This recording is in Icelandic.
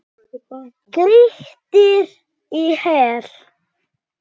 Grýttir í hel.